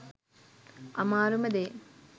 අමාරුම දේ